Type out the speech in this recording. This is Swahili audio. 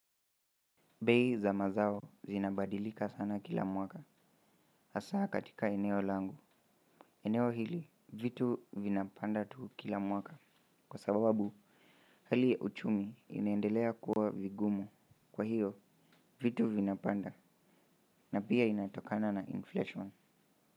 Bei za mazao zinabadilika sana kila mwaka hasaa katika eneo langu eneo hili vitu vinapanda tu kila mwaka kwa sababu hali ya uchumi inaendelea kuwa vigumu kwa hiyo vitu vinapanda na pia inatokana na inflation.